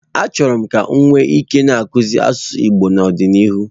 Achọrọ m ka m nwee ike na-akuzie asụsụ Igbo n'ọdịnihu.